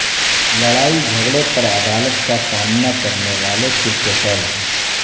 لڑائی جھگڑے پر عدالت کا سامنا کرنے والے کرکٹرز